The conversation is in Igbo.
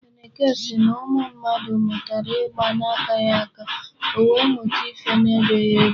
Eneke sị na ụmụ mmadụ mụtara ịgba na-akaghị aka, o wee mụta ife na-ebeghị ebe.